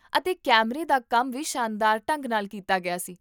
ਅਤੇ ਕੈਮਰੇ ਦਾ ਕੰਮ ਵੀ ਸ਼ਾਨਦਾਰ ਢੰਗ ਨਾਲ ਕੀਤਾ ਗਿਆ ਸੀ